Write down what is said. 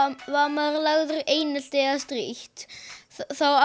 maður er lagður í einelti eða strítt þá